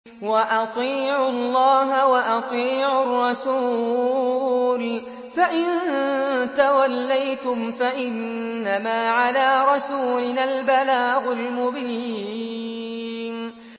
وَأَطِيعُوا اللَّهَ وَأَطِيعُوا الرَّسُولَ ۚ فَإِن تَوَلَّيْتُمْ فَإِنَّمَا عَلَىٰ رَسُولِنَا الْبَلَاغُ الْمُبِينُ